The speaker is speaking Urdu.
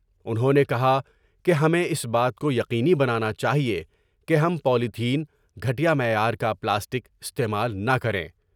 انہوں نے کہا کہ ہمیں اس بات کو یقینی بنانا چاہئے کہ ہم پیتھین ، گھیا معیار کا پلاسٹک استعمال نہ کریں ۔